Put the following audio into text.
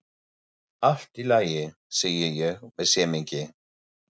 Allt í lagi, segi ég með semingi.